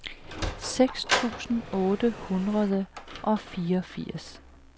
seks tusind otte hundrede og fireogfirs